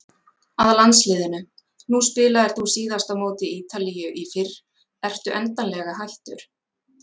Að landsliðinu, nú spilaðir þú síðast á móti Ítalíu í fyrr, ertu endanlega hættur?